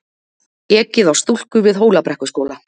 Ekið á stúlku við Hólabrekkuskóla